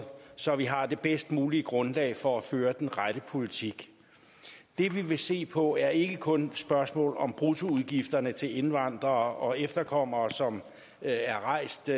så vi har det bedst mulige grundlag for at føre den rette politik det vi vil se på er ikke kun spørgsmålet om bruttoudgifterne til indvandrere og efterkommere som er er rejst